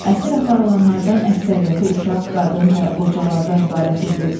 Əsir aparılanlardan əksəriyyəti uşaq, qadın və qocalardan ibarət idi.